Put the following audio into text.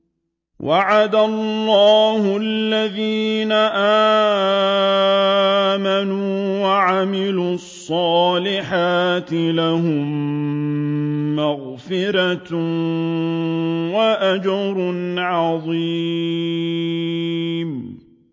وَعَدَ اللَّهُ الَّذِينَ آمَنُوا وَعَمِلُوا الصَّالِحَاتِ ۙ لَهُم مَّغْفِرَةٌ وَأَجْرٌ عَظِيمٌ